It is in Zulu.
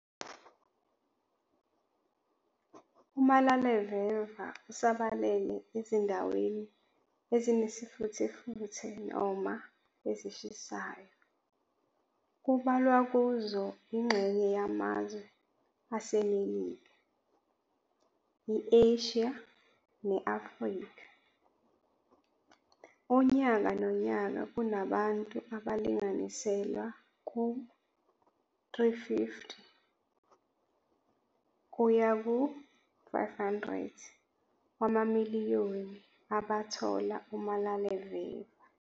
Umalaleveva usabalele ezindaweni ezinesifuthefuthe noma ezishisayo, kubalwa kuzo ingxeye yamazwe aseMelika, i-Asia ne-Afrika. Unyaka nonyaka kunabantu abalinganiselwa ku-350 kuya ku 500 wamamiliyoni abathola umalaleveva.